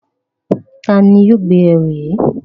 Tani yoo gbe ẹru yii?